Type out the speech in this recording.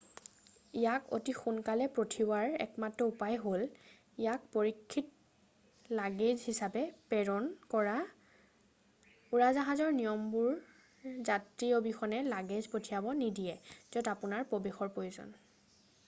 ইয়াক অতি সোনকালে পঠিওৱাৰ একমাত্ৰ উপায় হ'ল ইয়াক পৰীক্ষিত লাগেজ হিচাপে প্ৰেৰণ কৰা উৰাজাহাজৰ নিয়মবোৰে যাত্ৰী অবিহনে লাগেজ পঠিয়াব নিদিয়ে য'ত আপোনাৰ প্ৰৱেশৰ প্ৰয়োজন